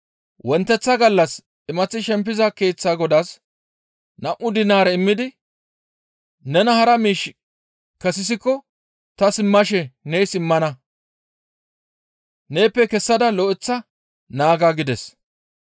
Wonteththa gallas imaththi shempiza keeththa godaas nam7u dinaare immidi, ‹Nena hara miish kessisiko ta simmashe nees immana; neeppe kessada lo7eththa naaga› gides.